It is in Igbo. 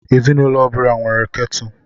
Ezinụlọ ọ bụla nwere kettle.